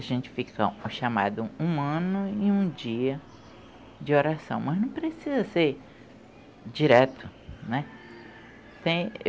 A gente fica o chamado um ano e um dia de oração, mas não precisa ser direto, né? Tem